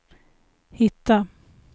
hitta